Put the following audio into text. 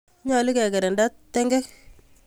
Nyalu kekirinda tung'wek